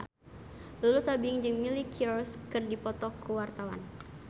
Lulu Tobing jeung Miley Cyrus keur dipoto ku wartawan